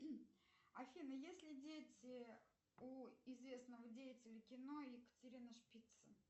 афина есть ли дети у известного деятеля кино екатерина шпица